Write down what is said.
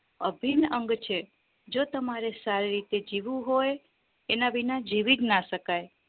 અભિન અંગ છે જો તમારે સારી રીતે જીવવું હોય એના વિના જીવીજ ના શકાય